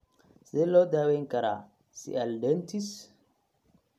Sidee loo daweyn karaa sialadenitis?